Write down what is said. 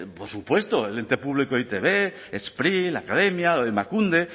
por supuesto el ente público e i te be spri la academia emakunde